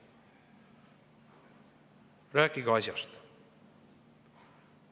Rääkige asjast.